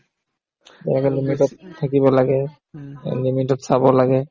যে এনেকে limit তত থাকিব লাগে limit তত চাব লাগে